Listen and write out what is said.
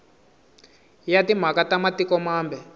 ya timhaka ta matiko mambe